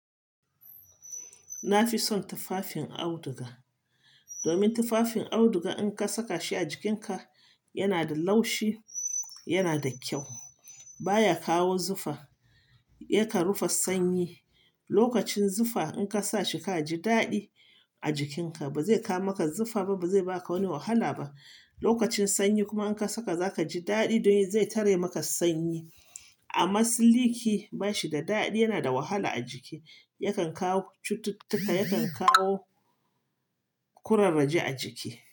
Na fi son tufafin auduga domin tufafin auduga in ka saka shi a jikinka yana da laushi, yana da kyau, baya kawo zufa. Yakan rufe sanyi. Lokacin zufa in ka sa shi ka ji daɗi a jikinka ba zai kawo maka zufa ba, ba zai ba ka wani wahala ba. Lokacin sanyi kuma in ka saka zaka ji daɗi domin zai tare maka sanyi. Amma siliki ba shi da daɗi, yana da wahala a jiki. Yakan kawo cututtuka, yakan kawo kurarraji a jiki.